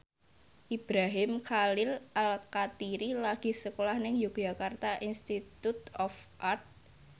Ibrahim Khalil Alkatiri lagi sekolah nang Yogyakarta Institute of Art